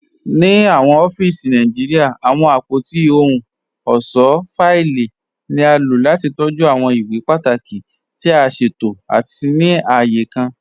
Ní awọn ọ̀fíìsì Nàìjíríà, awọn apótí òhùn ọṣọ́ fáìlì ni a ló láti tọjú awọn ìwé pátàkí tì a ṣẹtò àti ní ààyè kàn.